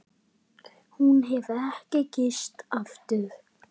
Hún hefur ekki gifst aftur.